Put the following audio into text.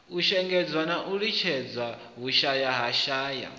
shengedzwa na u litshedzelwa vhushayahaya